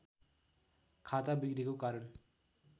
खाता बिग्रेको कारण